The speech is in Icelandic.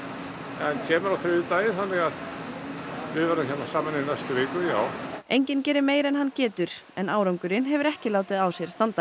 en kemur nú á þriðjudaginn þannig að við verðum hérna saman í næstu viku já enginn gerir meira en hann getur en árangurinn hefur ekki látið á sér standa